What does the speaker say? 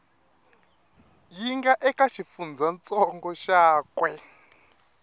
yi nga eka xifundzantsongo xakwe